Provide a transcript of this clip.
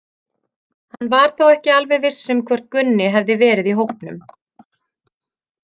Hann var þó ekki alveg viss um hvort Gunni hefði verið í hópnum.